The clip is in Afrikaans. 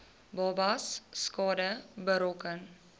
babas skade berokken